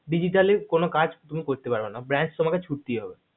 digitaly কোনো কাজ তুমি করতে পারবেনা branch তোমাকে ছুটতেই হবে